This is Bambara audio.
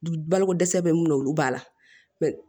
Balokodɛsɛ bɛ mun na olu b'a la